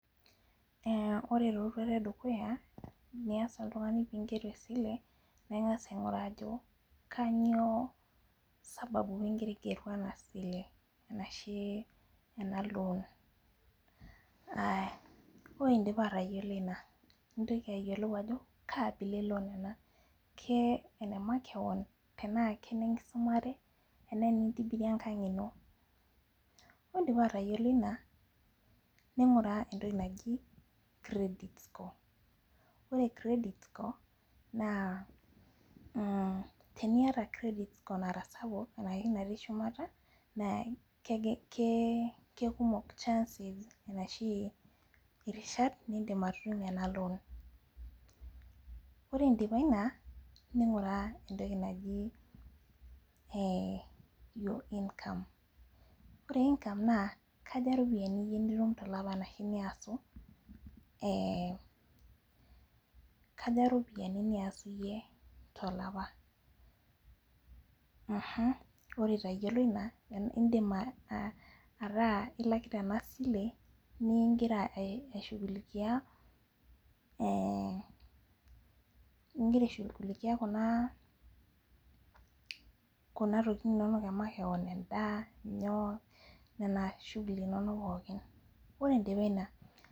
Eh ore taa eroruata edukuya nias oltungani pee iger esile ningas ainguraa ajo kainyioo sababu pee igira aingeru ena sile ashie ena loan aya ore indipa atayiolo ina nitoki ayielou ajo kaabila eloan ena ke nemakeon tenaa kenekisumare enaa enitibirie ekang ino ore indipa atayiolo ina ninguraa etoki naaji credit score ore credit score naa eh teniata credit score sapuk ashu natii shumata naa kekumok chance ashu irishat nidip anoto ena loan ore indipa ina ninguraa etoki naji eh loan income ore income naa kaja iropiyani nitum iyie tolapa ashu niasu eh kaja iropiyani niasu iyie tolapa mmh ore itayiolo ina idim ataa ilakita ena sile nimingira eh igira aishugulikie tokitin inonok emakeon nena shuguli nonok pooki ore indipa ina.